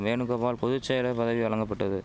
வேணுகோபால் பொது செயலர் பதவி வழங்கபட்டது